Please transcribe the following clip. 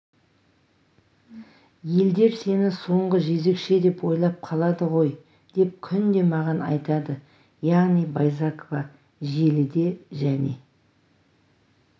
елдер сені соңғы жезөкше деп ойлап қалады ғой деп күнде маған айтады яғни байзақова желіде және